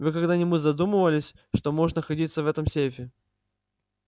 вы когда-нибудь задумывались что может находиться в этом сейфе